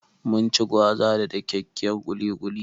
Mun ci gwaza da dakyakkyar ƙuli ƙuli.